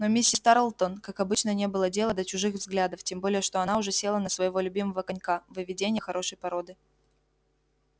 но миссис тарлтон как обычно не было дела до чужих взглядов тем более что она уже села на своего любимого конька выведение хорошей породы